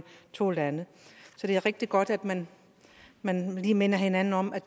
to lande så det er rigtig godt at man man lige minder hinanden om at